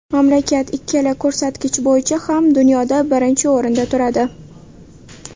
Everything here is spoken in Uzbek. Mamlakat ikkala ko‘rsatkich bo‘yicha ham dunyoda birinchi o‘rinda turadi.